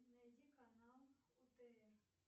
найди канал отр